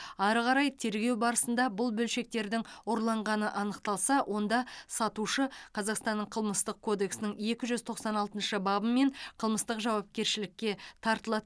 ары қарай тергеу барысында бұл бөлшектердің ұрланғаны анықталса онда сатушы қазақстанның қылмыстық кодексінің екі жүз тоқсан алтыншы бабымен қылмыстық жауапкершілікке тартылады